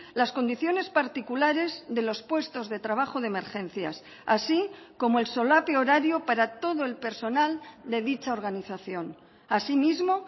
las condiciones particulares de los puestos de trabajo de emergencias así como el solape horario para todo el personal de dicha organización asimismo